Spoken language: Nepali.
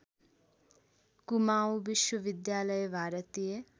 कुमाउँ विश्वविद्यालय भारतीय